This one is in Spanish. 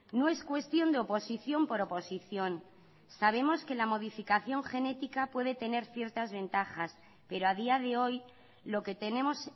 no es cuestión de oposición por oposición sabemos que la modificación genética puede tener ciertas ventajas pero a día de hoy lo que tenemos